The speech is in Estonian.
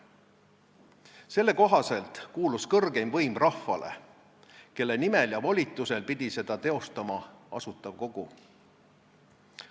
Selle kohaselt kuulus kõrgeim võim rahvale, kelle nimel ja volitusel pidi seda teostama Asutav Kogu.